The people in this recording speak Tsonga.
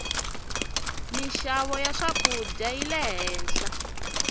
minxavo ya swakudya yile henhla